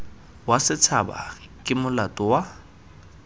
wa setshaba ke molato wa